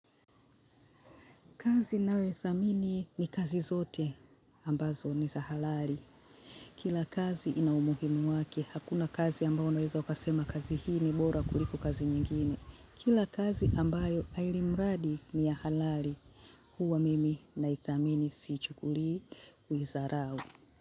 Kazi nayoithamini ni kazi zote ambazo ni za halali. Kila kazi ina umuhimu wake, hakuna kazi ambao unaweza ukasema kazi hii ni bora kuliko kazi nyingine. Kila kazi ambayo ilimradi ni ya halali, huwa mimi naithamini sichukuli kuidharau.